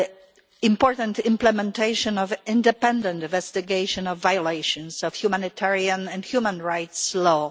the important implementation of an independent investigation of violations of humanitarian and human rights law.